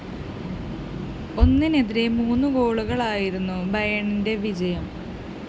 ഒന്നിനെതിരെ മൂന്ന് ഗോളുകള്‍ക്കായിരുന്നു ബയേണിന്റെ വിജയം